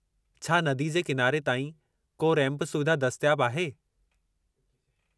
छा क्या नदी जे किनारे ताईं को रैंपु सुविधा दस्तियाबु आहे?